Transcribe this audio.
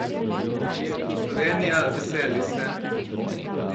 Slovenija, veseli se!